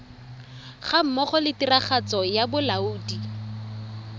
gammogo le tiragatso ya bolaodi